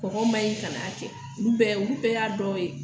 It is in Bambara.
Kɔgɔ man ɲi kan'a kɛ olu bɛɛ y'a dɔ ye